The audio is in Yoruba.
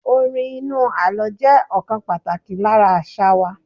Orin inú àlọ́ jẹ́ ọ̀kan pàtàkì lára àṣà wa.